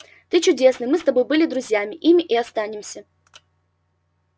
ты чудесный мы с тобой были друзьями ими и останемся